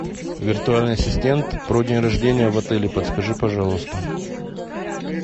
виртуальный ассистент про день рождения в отеле подскажи пожалуйста